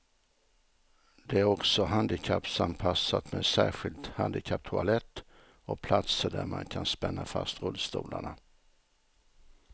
Det är också handikappanpassat med särskild handikapptoalett och platser där man kan spänna fast rullstolarna.